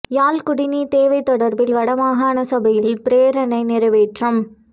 யாழ் குடிநீர் தேவை தொடர்பில் வட மாகாண சபையில் பிரேரணை நிறைவேற்றம்